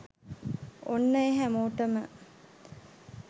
ඔන්න එ හැමොටම